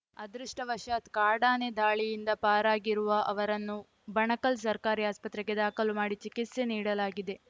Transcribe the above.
ಅದೃಷ್ಟವಶಾತ್‌ ಕಾಡಾನೆ ದಾಳಿಯಿಂದ ಪಾರಾಗಿರುವ ಅವರನ್ನು ಬಣಕಲ್‌ ಸರ್ಕಾರಿ ಆಸ್ಪತ್ರೆಗೆ ದಾಖಲು ಮಾಡಿ ಚಿಕಿತ್ಸೆ ನೀಡಲಾಗಿದೆ